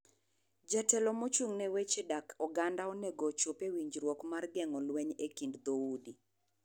Jotelo mochung' ne weche dak oganda onego ochop e winjruok mar geng'o lweny e kind dho udi.